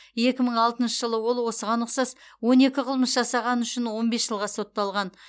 екі мың алтыншы жылы ол осыған ұқсас он екі қылмыс жасағаны үшін он бес жылға сотталған